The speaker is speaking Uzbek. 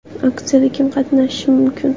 Aksiyada kim qatnashishi mumkin?